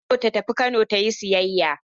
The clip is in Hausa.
Hauwa na so ta tafi Kano in yi sayayya.